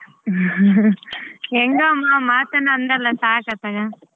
ಹೆಂಗೋ ಅಮ್ಮ ಮಾತನ್ನ ಅಂದಲ್ಲ ಸಾಕ ಅತ್ತಾಗ.